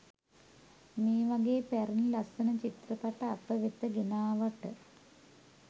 මේ වගේ පැරණි ලස්සන චිත්‍රපට අප වෙත ගෙනාවට.